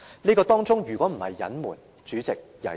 這如果不是隱瞞，會是甚麼？